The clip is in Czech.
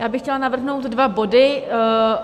Já bych chtěla navrhnout dva body.